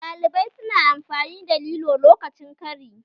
Ɗalibai su na amfani da lilo lokacin kari